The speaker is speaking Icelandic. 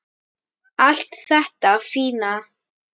Allt þetta fína.